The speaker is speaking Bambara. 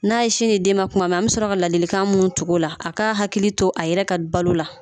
N'a ye sin di den ma kuma an bi sɔrɔ ka ladilikan mun tugu o la a k'a hakili to a yɛrɛ ka balo la.